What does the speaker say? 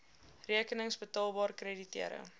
rekenings betaalbaar krediteure